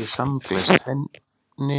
Ég samgleðst henni,